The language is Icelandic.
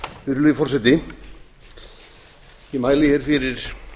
virðulegi forseti ég mæli hér fyrir